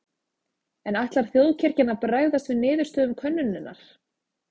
En ætlar þjóðkirkjan að bregðast við niðurstöðum könnunarinnar?